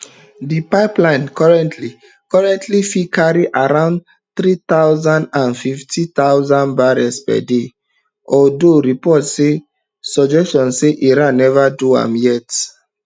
dis pipeline currently currently fit carry around three hundred and fifty thousand barrels per day although reports dey suggest say iran never do am yet